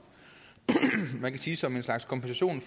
man kan sige at som en slags kompensation